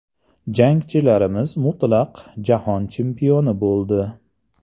Jangchilarimiz mutlaq jahon chempioni bo‘ldi!.